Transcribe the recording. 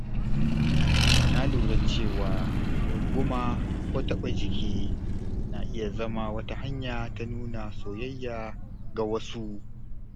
Na lura cewa runguma ko taɓa jiki na iya zama wata hanya ta nuna soyayya ga wasu.